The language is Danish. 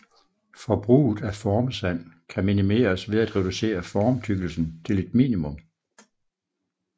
Forbruget af formsand kan minimeres ved at reducere formtykkelsen til et minimum